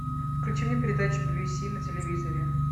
включи мне передачу би би си на телевизоре